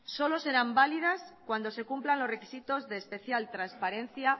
solo serán válidas cuando se cumplan los requisitos de especial transparencia